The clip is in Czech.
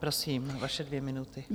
Prosím, vaše dvě minuty.